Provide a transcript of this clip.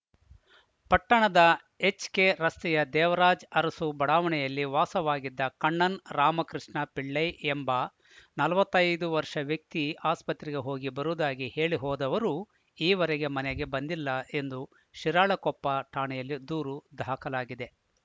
ಪಟ್ಟಣದ ಎಚ್‌ಕೆರಸ್ತೆಯ ದೇವರಾಜ್‌ಅರಸು ಬಡಾವಣೆಯಲ್ಲಿ ವಾಸವಾಗಿದ್ದ ಕಣ್ಣನ್‌ ರಾಮಕೃಷ್ಣ ಪಿಳ್ಐ ಎಂಬ ನಲವತ್ತ್ ಐದು ವರ್ಷ ವ್ಯಕ್ತಿ ಆಸ್ಪತ್ರೆಗೆ ಹೋಗಿ ಬರುವುದಾಗಿ ಹೇಳಿ ಹೋದವರು ಈ ವರೆಗೆ ಮನೆಗೆ ಬಂದದಿಲ್ಲ ಎಂದು ಶಿರಾಳಕೊಪ್ಪ ಠಾಣೆಯಲ್ಲಿ ದೂರು ದಾಖಲಾಗಿದೆ